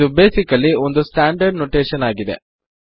ಇದು ಬೇಸಿಕಲ್ಲಿ ಒಂದು standard notation ಆಗಿದೆ